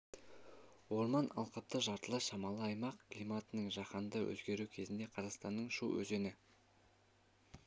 орман алқапты жартылай шамалы аймақ климаттың жаһанды өзгеруі кезінде қазақстанның шу өзені